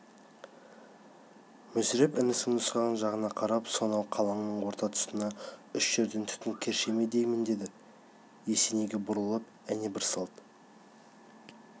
мүсіреп інісінің нұсқаған жағына қарап сонау қалыңның орта тұсында үш жерден түтін керше ме деймін деді есенейге бұрылып әне бір салт